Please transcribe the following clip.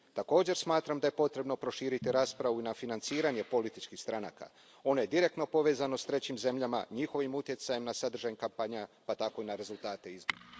Također smatram da je potrebno proširiti raspravu i na financiranje političkih stranaka, one direktno povezano s trećim zemljama, njihovim utjecajem na sadržaj kampanja pa tako i na rezultate izbora.